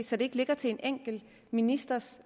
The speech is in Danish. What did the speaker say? så det ikke ligger til en enkelt ministers